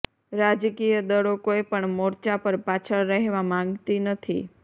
રાજકીય દળો કોઇ પણ મોર્ચા પર પાછળ રહેવા માંગતી નથી